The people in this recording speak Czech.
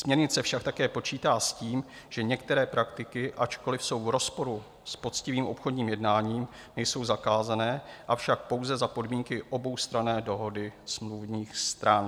Směrnice však také počítá s tím, že některé praktiky, ačkoli jsou v rozporu s poctivým obchodním jednáním, nejsou zakázané, avšak pouze za podmínky oboustranné dohody smluvních stran.